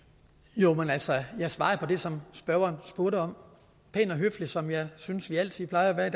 jo men altså jeg svarede på det som spørgeren spurgte om pænt og høfligt som jeg synes vi altid plejer at